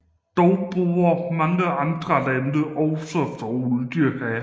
Dog borer mange andre lande også efter olie her